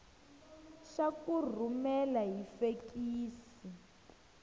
xa ku rhumela hi fekisi